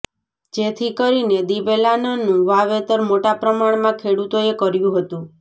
જેથી કરીને દિવેલાનાનું વાવેતર મોટા પ્રમાણમાં ખેડૂતોએ કર્યું હતું